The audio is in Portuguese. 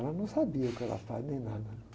Ela não sabia que eu era padre nem nada, né?